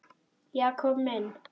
Jakob minn.